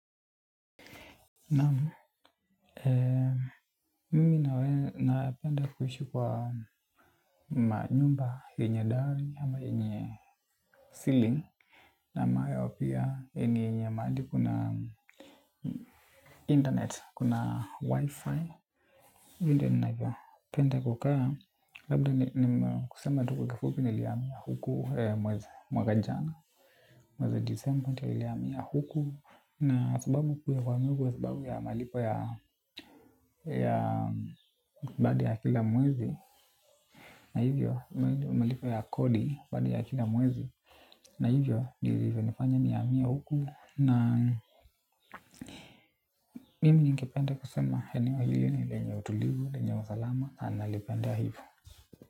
Naam, mimi nawe napenda kuishi kwa maanyumba yenye dali ama yenye ceiling na ambayo pia yenye mahali kuna internet, kuna wi-fi. Mi ndio ninaeza penda kukaa, labda ni kusema tu kwa kifupi nilihamia huku mwezi mwaka jana, mwezi disemba ndio nilihamia huku. Na sababu kuu ya kuhamia huku ya sababu ya malipo ya ya badi ya kila mwezi. Na hivyo malipo ya kodi badi ya kila mwezi. Na hivyo nifanya nihamia huku. Na mimi ningepende kusema eneoa hili ni lenye utulivu, lenye usalama. Na ni nalipendea hivo.